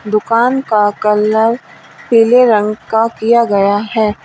दुकान का कलर पीले रंग का किया गया है।